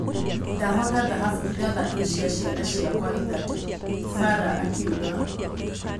"Ndahoota thahabu ithathatũ cia ciana ciakwa ithatũ," Fara akiuga.